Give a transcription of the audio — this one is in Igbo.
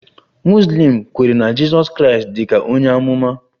Muslim kwere na Jizọs Kraịst dị ka onye amụma